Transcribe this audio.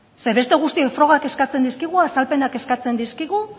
ze beste guztioi frogak eskatzen dizkigu azalpenak eskatzen dizkigu